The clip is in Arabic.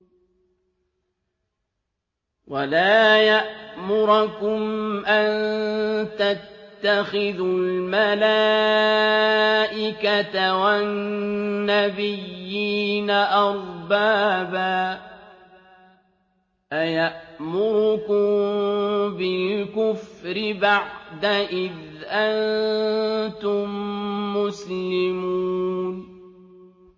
وَلَا يَأْمُرَكُمْ أَن تَتَّخِذُوا الْمَلَائِكَةَ وَالنَّبِيِّينَ أَرْبَابًا ۗ أَيَأْمُرُكُم بِالْكُفْرِ بَعْدَ إِذْ أَنتُم مُّسْلِمُونَ